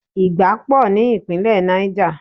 Ìgbá pò ní Ìpínlẹ̀ Niger.